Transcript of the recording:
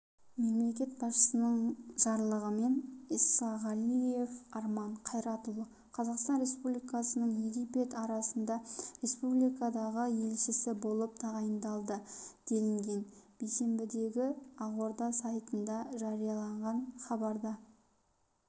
мемлекет басшысының жарлығымен исағалиев арман қайратұлы қазақстан республикасының египет араб республикасындағы елшісі болып тағайындалды делінген бейсенбідегі ақорда сайтында жарияланған хабарда